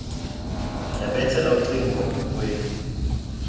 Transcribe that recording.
yabethela ucingo ebukhweni